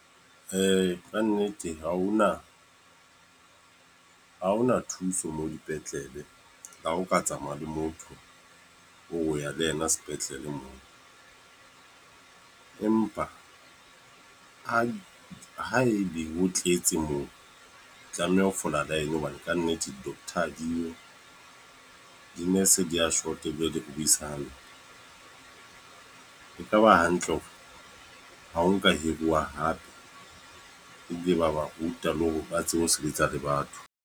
Kannete ha ho na, ha ho na thuso moo dipetlele. Ha ho ka tsamaya le motho, o re o ya le ena sepetlele moo. Empa ha e be ho tletse moo, tlameha ho fola line hobane kannete doctor ha di yo. Di-nurse di ya short, ebile di re buisa le hampe. E ka ba hantle hore ha ho ka hiruwa hape, ebile ba ba ruta le hore ba tsebe ho sebetsa le batho.